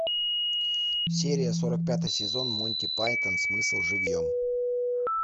серия сорок пятый сезон муйти пайтон смысл живьем